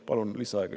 Palun lisaaega.